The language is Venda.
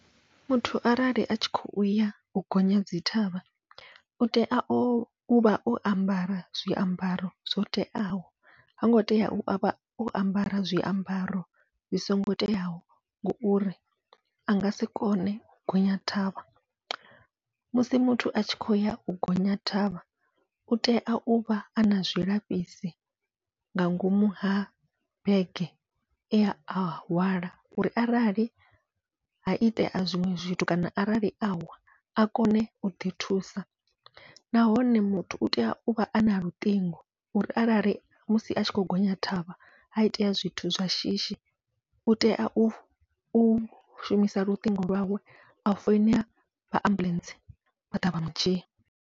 Muthu arali atshi kho uya u gonya dzi thavha, utea ovha o ambara zwiambaro zwo teaho hango tea uvha o ambara zwiambaro zwi songo teaho, ngauri angasi kone u gonya thavha musi muthu a tshi khou ya u gonya thavha utea uvha ana zwilafhisi nga ngomu ha bege ea hwala, uri arali ha itea zwiṅwe zwithu kana arali awa a kone uḓi thusa. Nahone muthu utea uvha ana luṱingo uri arali musi a tshi kho gonya thavha, ha itea zwithu zwa shishi utea u u shumisa luṱingo lwawe a foinela vha ambuḽentse vha ḓa vha mudzhia.